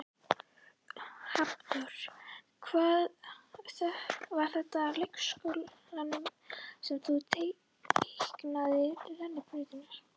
Hafþór: Var þetta á leikskólanum sem að þú teiknaðir rennibrautina?